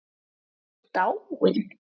Ætli hann sé dáinn.